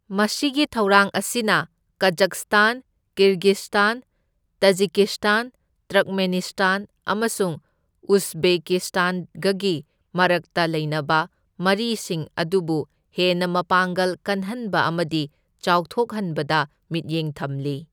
ꯃꯁꯤꯒꯤ ꯊꯧꯔꯥꯡ ꯑꯁꯤꯅ ꯀꯖꯛꯁꯇꯥꯟ, ꯀꯤꯔꯒꯤꯁꯇꯥꯟ, ꯇꯥꯖꯤꯀꯤꯁꯇꯥꯟ, ꯇ꯭ꯔꯛꯃꯦꯅꯤꯁꯇꯥꯟ ꯑꯃꯁꯨꯡ ꯎꯖꯕꯦꯀꯤꯁꯇꯥꯟꯒꯒꯤ ꯃꯔꯛꯇ ꯂꯩꯅꯕ ꯃꯔꯤꯁꯤꯡ ꯑꯗꯨꯕꯨ ꯍꯦꯟꯅ ꯃꯄꯥꯡꯒꯜ ꯀꯜꯍꯟꯕ ꯑꯃꯗꯤ ꯆꯥꯎꯊꯣꯛꯍꯟꯕꯗ ꯃꯤꯠꯌꯦꯡ ꯊꯝꯂꯤ꯫